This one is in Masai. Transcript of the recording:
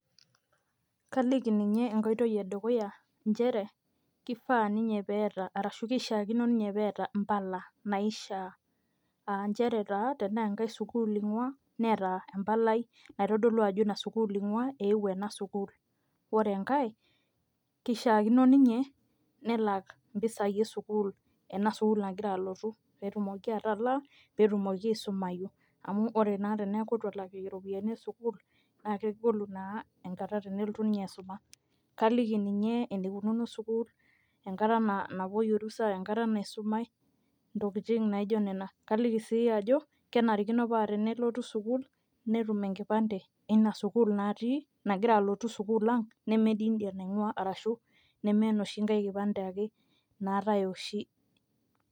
kaliki ninye enkoitoi edukuya nchere, kifaa ninye, pee eeta, arashu kishaakino ninye peeta mpala naishaa, aa nchere taa tenaa enkae sukuul ingua neeta empalai naitodolu ajo ina sukuul inguaa. eewuo ena sukuul. ore enkae kishaakino ninye nelak impisai esukuul. enas ukuul nagira alotu, pee etumoki atalaa, pee etumoki aisumayu. amu ore naa pee eku eitu etum iropiyiani esukuul naa kegolu naa enkata tenelotu ninye aisuma. kaliki ninye enikununo sukuul. enkata napuoi orusa, enkata naisumai, intokitin naijo nena. kaliki sii ajo kenarikino paa tenelotu sukuul netum enkipande eina sukuul natii, nagira alotu sukuul ang neme duo idia nainguaa. arashu neme enoshi nkae kipande ake naatae oshi.